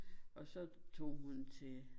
Og så tog hun til